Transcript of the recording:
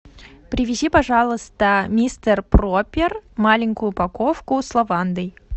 привези пожалуйста мистер пропер маленькую упаковку с лавандой